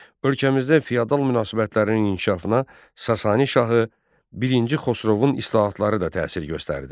Ölkəmizdə fiyadal münasibətlərinin inkişafına Sasani şahı birinci Xosrovun islahatları da təsir göstərdi.